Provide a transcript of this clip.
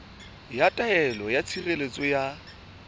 ya taelo ya tshireletso ya